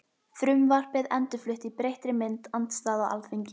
Frumvarpið endurflutt í breyttri mynd- Andstaða á Alþingi